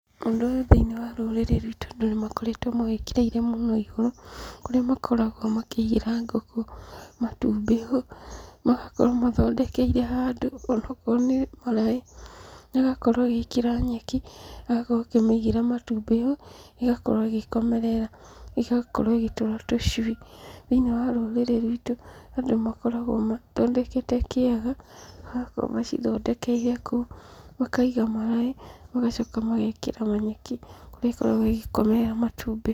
Ũndũ ũyũ thĩiniĩ wa rũrĩrĩ rwitũ andũ nĩmakoretwo mawĩkĩrĩire mũno igũrũ kũrĩa makoragwo makĩigĩra ngũkũ matumbĩ ho, magakorwo mathondekeire handũ ona akorwo nĩ kĩraĩ, agakorwo agĩĩkĩra nyeki, agakorwo akĩmĩigĩra matumbĩ ho, ĩgakorwo ĩgĩkomerera, ĩgakorwo ĩgĩtũra tũcũi.Thĩiniĩ wa rũrĩrĩ rwitũ andũ makoragwo mathondekete kĩaga, magakorwo macithondekeire kũu, makaiga maraĩ magacoka magekĩra manyeki kũrĩa ikoragwo igĩkomera matumbĩ.